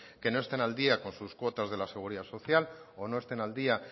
que no estén al día con sus cuotas de la seguridad social o no estén al día